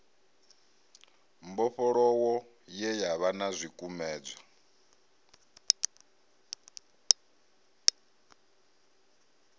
mbofholowo ye yavha na zwikumedzwa